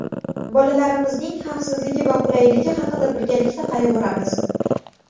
Bolalarimizning xavfsizligi va qulayligi haqida birgalikda qayg‘uramiz.